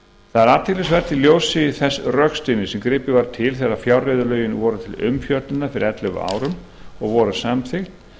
er athyglisvert í ljósi þess rökstuðnings sem gripið var til þegar fjárreiðulögin voru til umfjöllunar fyrir ellefu árum og voru samþykkt